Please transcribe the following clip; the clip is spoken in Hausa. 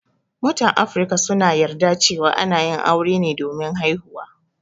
Mutan Afrika suna yarda cewa ana yin aure ne domin haihuwa.